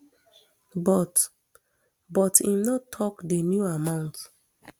but but im no tok di new amount